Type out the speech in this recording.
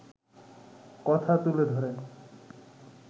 কথা তুলে ধরেন